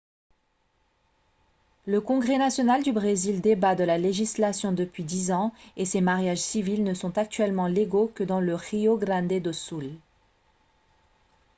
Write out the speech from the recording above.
le congrès national du brésil débat de la légalisation depuis 10 ans et ces mariages civils ne sont actuellement légaux que dans le rio grande do sul